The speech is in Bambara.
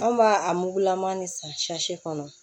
An b'a a mugulama ni san kɔnɔ